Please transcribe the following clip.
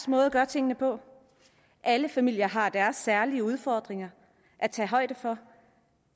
måde at gøre tingene på alle familier har deres særlige udfordringer at tage højde for